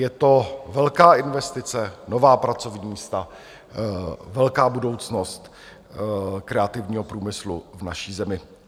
Je to velká investice, nová pracovní místa, velká budoucnost kreativního průmyslu v naší zemi.